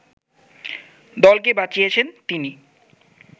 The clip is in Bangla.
দলকে বাঁচিয়েছেন তিনি